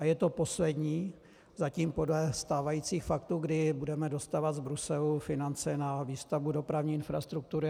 A je to poslední, zatím podle stávajících faktů, kdy budeme dostávat z Bruselu finance na výstavbu dopravní infrastruktury.